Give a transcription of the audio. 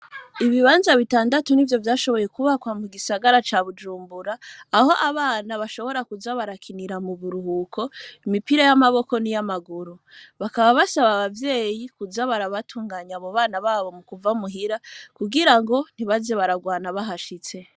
Ibibanza bitandatu ni vyo vyashoboye kubakwa mu gisagara ca bujumbura aho abana bashobora kuza barakinira mu buruhuko imipira y'amaboko n'iy'amaguru bakaba basaba abavyeyi kuza barabatunganya mu bana babo mu kuva muhira kugira ngo ntibaze bararwana bahashitse.